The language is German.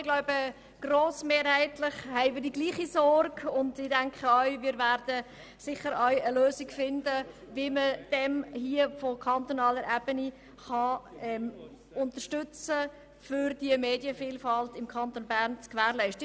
Ich glaube, grossmehrheitlich teilen wir dieselbe Sorge, und ich denke, wir werden auch eine Lösung finden, wie wir von kantonaler Seite Unterstützung bieten können, um die Medienvielfalt im Kanton Bern zu gewährleisten.